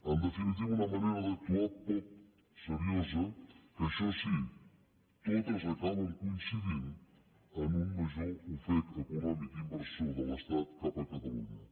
en definitiva una manera d’actuar poc seriosa que això sí totes acaben coincidint en un major ofec econòmic i inversor de l’estat cap a catalunya